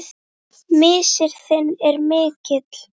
Missir þinn er mikill.